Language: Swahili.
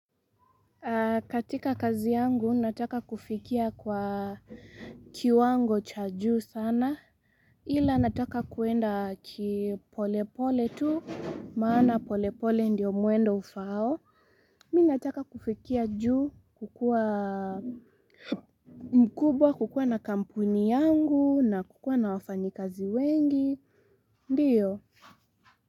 Katika kazi yangu nataka kufikia kwa kiwango cha juu sana ila nataka kuenda kipolepole tu maana polepole ndiyo mwendo ufao mimi nataka kufikia juu kukua mkubwa kukua na kampuni yangu na kukua na wafanyi kazi wengi ndiyo.